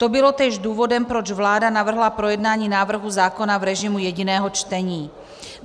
To bylo též důvodem, proč vláda navrhla projednání návrhu zákona v režimu jediného čtení.